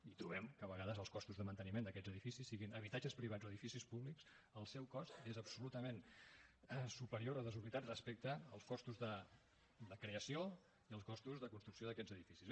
i trobem que a vegades els costos de manteniment d’aquests edificis siguin habitatges privats o edificis públics el seu cost és absolutament superior o desorbitat respecte als costos de creació i als costos de construcció d’aquests edificis